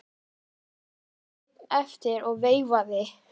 Ég stóð einn eftir og veifaði.